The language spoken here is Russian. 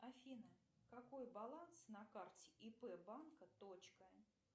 афина какой баланс на карте ип банка точка